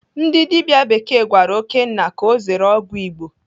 Ndị dibịa bekee gwara Okénna ka ọ zere ọgwụ Igbo.